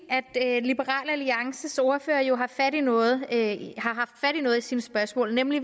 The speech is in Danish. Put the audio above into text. at liberal alliances ordfører jo har haft fat i noget i sine spørgsmål nemlig